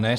Ne.